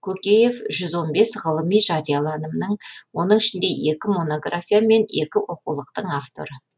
көкеев жүз он бес ғылыми жарияланымның оның ішінде екі монография мен екі оқулықтың авторы